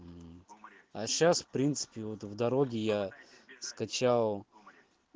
а сейчас в принципе вот в дороге я скачал